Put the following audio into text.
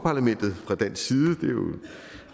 parlamentet fra dansk side